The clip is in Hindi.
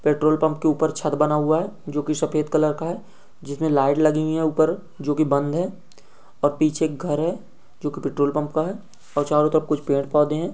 पेट्रोल पम्प के ऊपर छत बना हुआ है जो की सफ़ेद कलर का है जिसमें लाइट लगी हुई है ऊपर जो की बंद है और पीछे एक घर है जो की पेट्रोल पम्प का है और चारो तरफ कुछ पेड़ पौधे है।